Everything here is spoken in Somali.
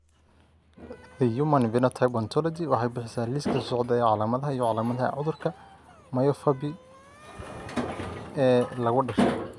The Human Phenotype Ontology waxay bixisaa liiska soo socda ee calaamadaha iyo calaamadaha cudurka myopathy ee lagu dhasho.